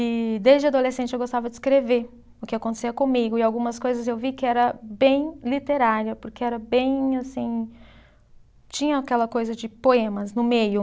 E desde adolescente eu gostava de escrever o que acontecia comigo e algumas coisas eu vi que era bem literária, porque era bem assim. Tinha aquela coisa de poemas no meio.